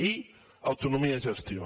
i autonomia de gestió